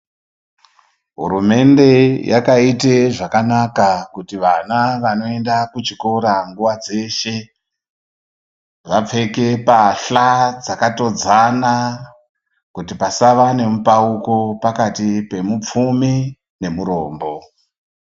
Hurumende yakaite zvakanaka kuti vana vanoenda kuchikora nguva dzeshe , vapfeke pahla dzakatodzana, kuti pasava nemupauko pakati pemupfumi, nemurombo.